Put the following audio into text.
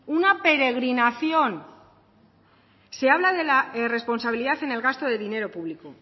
una peregrinación se habla de la responsabilidad en el gasto de dinero público